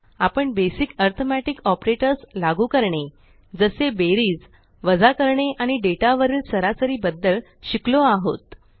आपण basic arithmetic operators लागू करणे जसे बेरीज वजा करणे आणि डेटा वरील सरासरी बद्दल शिकलो आहोत